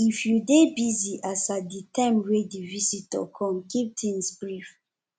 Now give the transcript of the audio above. if you dey busy as at di time wey di visitor come keep things brief